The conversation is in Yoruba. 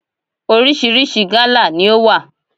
Orísìírísìí gálà ni ó wà.